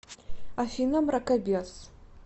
афина мракобес